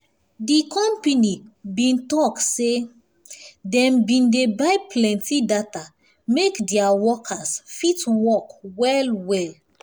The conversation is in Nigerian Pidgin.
di company bin talk say dem bin dey buy plenti data make their workers fit work well well